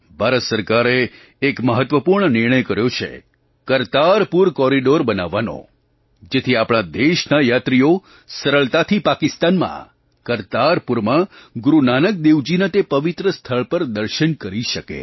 ભારત સરકારે એક મહત્ત્વપૂર્ણ નિર્ણય કર્યો છે કરતારપુર કૉરિડોર બનાવવાનો જેથી આપણા દેશના યાત્રીઓ સરળતાથી પાકિસ્તાનમાં કરતારપુરમાં ગુરુ નાનક દેવજીના તે પવિત્ર સ્થળ પર દર્શન કરી શકે